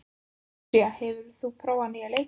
Lúísa, hefur þú prófað nýja leikinn?